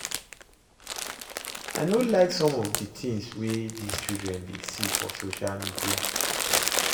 I no like some of the things wey dis children dey see for social media